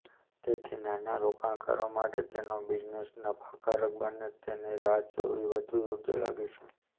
તેથી નાના રોકાણકારો માટે તેનો બિઝનેસ નફાકારક બને તેની રાહ જોવી વધુ યોગ્ય લાગે છે